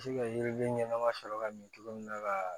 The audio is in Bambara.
Se ka yiriden ɲɛnama sɔrɔ ka min cogo min na ka